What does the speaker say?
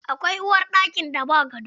Akwai uwarɗakin da ba gado.